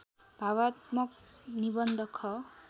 भावात्मक निबन्ध ख